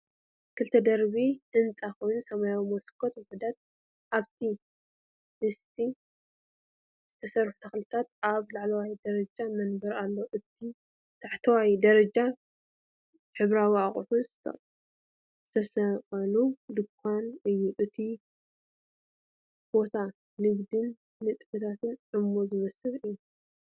ክልተ ደርቢ ህንጻ ኮይኑ፡- ሰማያዊ መስኮት ውሑዳት ኣብ ድስቲ ዝተሰርሑ ተኽልታትን ኣብ ላዕለዋይ ደረጃ መንበርን ኣለዎ። እቲ ታሕተዋይ ደረጃ ሕብራዊ ኣቑሑት ዝተሰቕለሉ ድኳን እዩ። እቲ ቦታ ብንግድን ንጥፈታትን ዕሙር ዝመስል እዩ።